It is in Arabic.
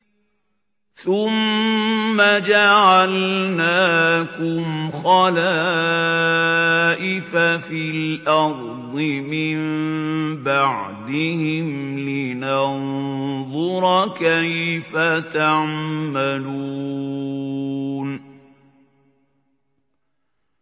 ثُمَّ جَعَلْنَاكُمْ خَلَائِفَ فِي الْأَرْضِ مِن بَعْدِهِمْ لِنَنظُرَ كَيْفَ تَعْمَلُونَ